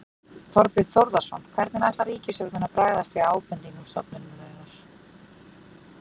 Þorbjörn Þórðarson: Hvernig ætlar ríkisstjórnin að bregðast við ábendingum stofnunarinnar?